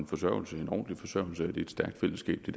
forsørgelse i et stærkt fællesskab det